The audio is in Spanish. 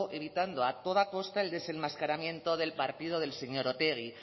evitando a toda costa el desenmascaramiento del partido del señor otegi